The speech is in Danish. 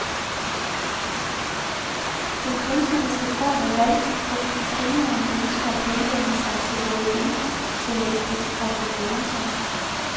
Den kunstneriske form er valgt, fordi de trioen ønsker at henvende sig til både intellektet og til følelserne.